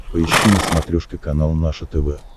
поищи на смотрешке канал наше тв